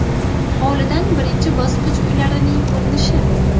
Hovlidan birinchi bosqich uylarining ko‘rinishi.